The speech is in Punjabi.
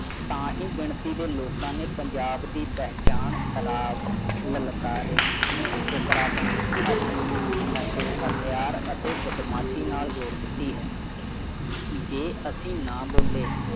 ਤਾਂਹੀ ਗਿਣਤੀ ਦੇ ਲੋਕਾਂ ਨੇ ਪੰਜਾਬ ਦੀ ਪਹਿਚਾਣ ਖਰਾਬ ਲਲਕਾਰੇ ਸੁਥਰਾਪਨ ਅਫੀਮ ਨਸ਼ੇ ਹਥਿਆਰ ਅਤੇ ਬਦਮਾਸ਼ੀ ਨਾਲ ਜੋੜ ਦਿੱਤੀ ਹੈ ਜੇ ਅਸੀਂ ਨਾ ਬੋਲੇ